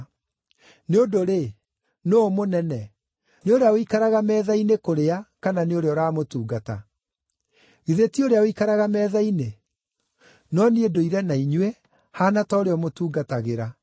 Nĩ ũndũ-rĩ, nũũ mũnene, nĩ ũrĩa ũikaraga metha-inĩ kũrĩa kana nĩ ũrĩa ũramũtungata? Githĩ ti ũrĩa ũikaraga metha-inĩ? No niĩ ndũire na inyuĩ, haana ta ũrĩa ũmũtungatagĩra.